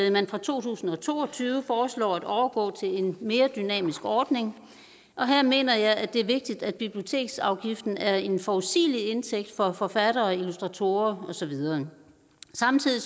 at man fra to tusind og to og tyve foreslår at overgå til en mere dynamisk ordning og her mener jeg at det er vigtigt at biblioteksafgiften er en forudsigelig indtægt for forfattere illustratorer og så videre samtidig